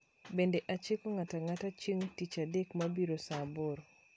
Bende achiko ng'ato ang'ata chieng' tich adek mabiro saa aboro.